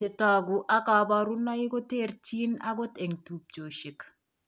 Chetogu ak kaborunoik koterchin akot eng' tubchosiek